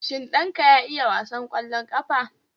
Shin ɗanka ya iya wasan kwallon ƙafa?